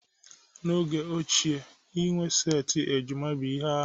N'oge ochie inwe setị ejima bụ ihe arụ